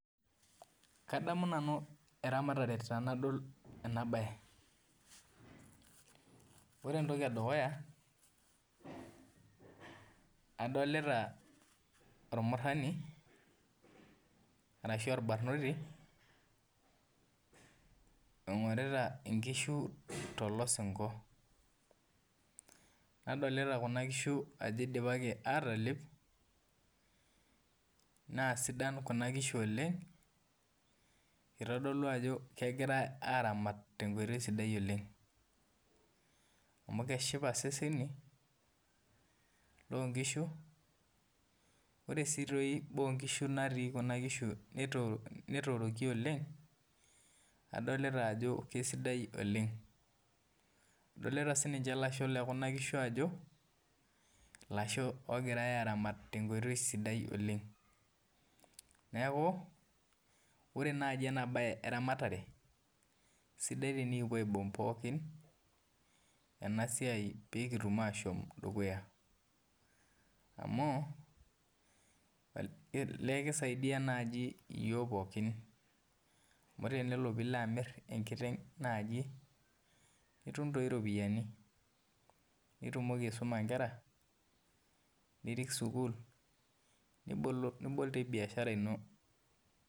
Kadamu nanu eramatare tanadol ena bae ore entoki edukuya adolta ormurani ashu orbarnoti oingurita nkishu tolosinko nadolta kuna kishu ajo idipaki atalep na sidan kuna kishu oleng na kitadolu ajo kegirai aramat tenkoitoi sidai oleng amu keshipa seseni lonkishu ore si boonkishu natii kuna kishu ajo keoro oleng, adolta sinye lasho lekuna kishu ajo lasha ogirai aramat tenkoitoi sidai oleng neaku ore nai enabae eramatare na sidai enikipuo aibung pookin pekipuo pookin dukuya amu ele kisaidia naj yiol pookin amu tenilo nilo amir enkiteng nitum iropiyani nitumoki aisuma nkera nirik sukul nibol dii biashara ino.